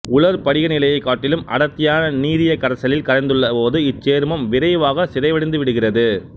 உலர் படிகநிலையைக் காட்டிலும் அடர்த்தியான நீரிய கரைசலில் கரைந்துள்ள போது இச்சேர்மம் விரைவாக சிதைவடைந்து விடுகிறது